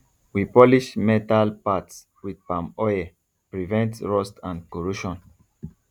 we polish metal parts with palm oil prevent rust and corrosion